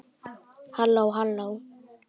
HALLÓ, HALLÓ.